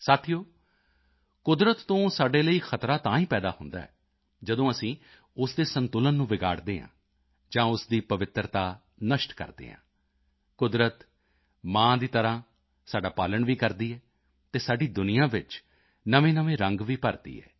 ਸਾਥੀਓ ਕੁਦਰਤ ਤੋਂ ਸਾਡੇ ਲਈ ਖਤਰਾ ਤਾਂ ਹੀ ਪੈਦਾ ਹੁੰਦਾ ਹੈ ਜਦੋਂ ਅਸੀਂ ਉਸ ਦੇ ਸੰਤੁਲਨ ਨੂੰ ਵਿਗਾੜਦੇ ਹਾਂ ਜਾਂ ਉਸ ਦੀ ਪਵਿੱਤਰਤਾ ਨਸ਼ਟ ਕਰਦੇ ਹਾਂ ਕੁਦਰਤ ਮਾਂ ਦੀ ਤਰ੍ਹਾਂ ਸਾਡਾ ਪਾਲਣ ਵੀ ਕਰਦੀ ਹੈ ਅਤੇ ਸਾਡੀ ਦੁਨੀਆ ਵਿੱਚ ਨਵੇਂਨਵੇਂ ਰੰਗ ਵੀ ਭਰਦੀ ਹੈ